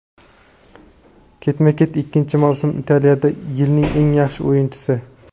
Ketma-ket ikkinchi mavsum Italiyada "Yilning eng yaxshi o‘yinchisi".